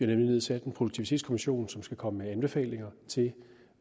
nemlig nedsat en produktivitetskommission som skal komme med anbefalinger til